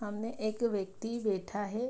सामने एक व्यक्ति बैठा है।